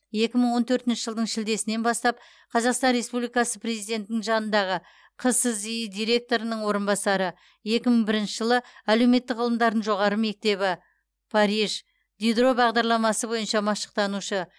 екі мың он төртінші жылдың шілдесінен бастап қазақстан республикасы президентінің жанындағы қсзи директорының орынбасары екі мың бірінші жылы әлеуметтік ғылымдардың жоғары мектебі париж дидро бағдарламасы бойынша машықтанушы